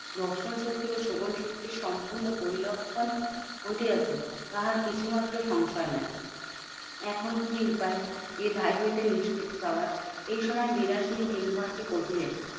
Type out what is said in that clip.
দর্শন শক্তি ও শ্রবণ শক্তি সম্পূর্ণ বৈলক্ষন ঘটিয়াছে। তাহার কিছুমাত্র সংশয় নাই। এখন কি উপায় এই হইতে নিষ্কৃতি পাওয়ার? এইসময় বিলাসিনী কিঙ্করকে কহিলেন,